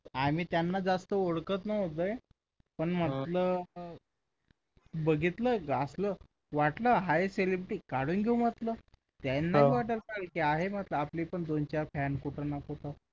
आम्ही त्यांना जसं ओळखत नव्हतो पण म्हटलं बघितलं होतं असं वाटलं हाय celebrity काढून घेऊ आपलं त्यांना वाटायला पाहिजे आहे ना आपले पण दोन-चार fans कुठे ना कुठे